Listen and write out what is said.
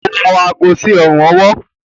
o wọ aago sí ọrùn-ọwọ́.